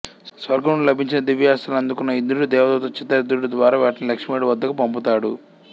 స్వర్గం నుండి లభించిన దివ్యాస్త్రాలు అందుకొన్న ఇంద్రుడు దేవదూత చిత్రరథుడు ద్వారా వాటిని లక్ష్మణుడు వద్దకు పంపుతాడు